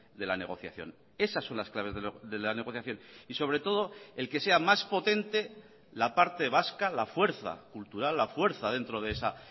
de la negociación esas son las claves de la negociación y sobre todo el que sea más potente la parte vasca la fuerza cultural la fuerza dentro de esa